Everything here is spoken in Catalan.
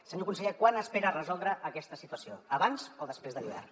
senyor conseller quan espera resoldre aquesta situació abans o després de l’hivern